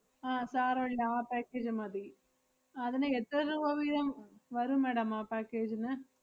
ആഹ് സാരവില്ല ആ package മതി. അതിന് എത്ര രൂപ വീതം വരും madam ആ package ന്?